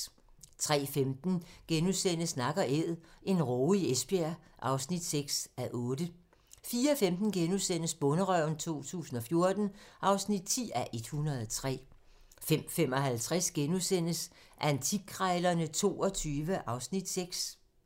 03:15: Nak & æd - en råge i Esbjerg (6:8)* 04:15: Bonderøven 2014 (10:103)* 05:55: Antikkrejlerne XXII (Afs. 6)*